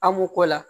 An m'o k'o la